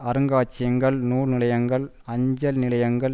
அருங்காட்சியகங்கள் நூல் நிலையங்கள் அஞ்சல் நிலையங்கள்